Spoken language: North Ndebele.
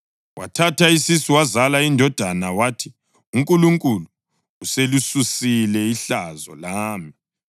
Wathatha isisu wazala indodana, wathi, “UNkulunkulu uselisusile ihlazo lami.”